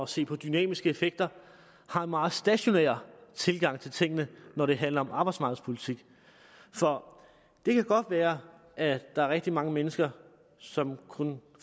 se på dynamiske effekter har en meget stationær tilgang til tingene når det handler om arbejdsmarkedspolitik for det kan godt være at der er rigtig mange mennesker som kun